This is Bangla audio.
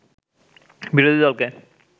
বিরোধী দলকে